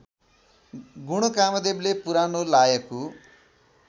गुणकामदेवले पुरानो लायकु